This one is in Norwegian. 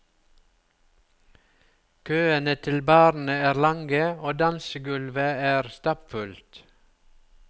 Køene til barene er lange, og dansegulvet er stappfullt.